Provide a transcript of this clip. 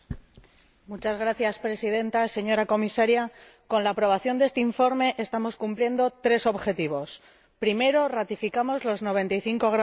Señora Presidenta, señora Comisaria, con la aprobación de este informe estamos cumpliendo tres objetivos Primero ratificamos los 95 gramos de CO